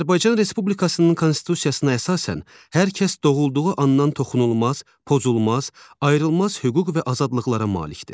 Azərbaycan Respublikasının Konstitusiyasına əsasən, hər kəs doğulduğu andan toxunulmaz, pozulmaz, ayrılmaz hüquq və azadlıqlara malikdir.